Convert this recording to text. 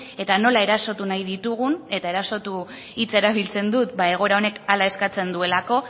eta nola erosotu nahi ditugun eta erasotu hitza erabiltzen dut egoera honek hala eskatzen duelako